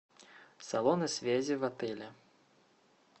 салоны связи в отеле